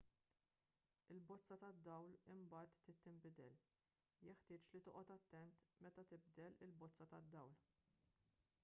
il-bozza tad-dawl imbagħad trid tinbidel jeħtieġ li toqgħod attent meta tibdel il-bozza tad-dawl